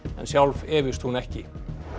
en sjálf efist hún ekki